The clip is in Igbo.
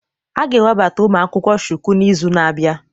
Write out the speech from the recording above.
A ga-ewebata ụmụ akwụkwọ Shuku n'izu na-abịa